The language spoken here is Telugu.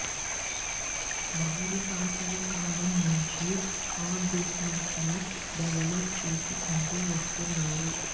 వారి తాతల కాలం నుంచి ఆ బిజినెస్ ను డెవలప్ చేసుకుంటూ వస్తున్నారు